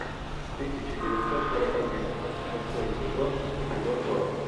тысяча девятьсот сорок один шестой сезон эпизод сорок